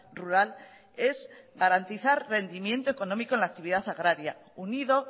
rural es garantizar rendimiento económico en la actividad agraria unido